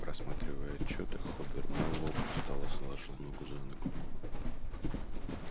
просматривая отчёты хобер мэллоу устало заложил ногу за ногу